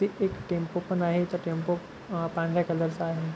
तीथे एक टॅम्पो पण आहे तो टॅम्पो अ पांढऱ्या कलर चा आहे.